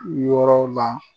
Wɔɔrɔ la